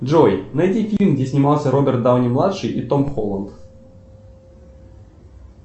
джой найди фильм где снимался роберт дауни младший и том холланд